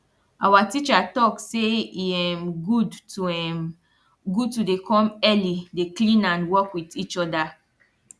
awa teacher talk say e um good to um good to dey come early dey clean and work wit each oda